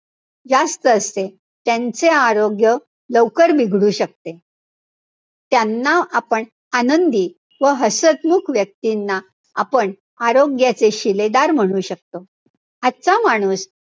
जास्त असते. त्यांचे आरोग्य लवकर बिघडू शकते. त्यांना आपण आनंदी व हसतमुख व्यक्तींना आपण आरोग्याचे शिलेदार म्हणू शकतो. आजचा माणूस,